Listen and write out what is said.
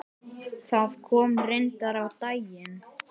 Það kom reyndar á daginn.